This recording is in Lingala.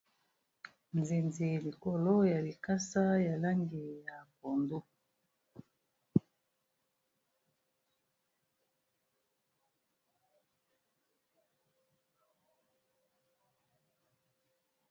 Nzinzi likolo ya likasa ya langi ya pondu.